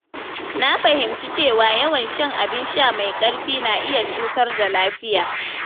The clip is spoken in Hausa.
Na fahimci cewa yawan shan abin sha mai ƙarfi na iya cutar da lafiya.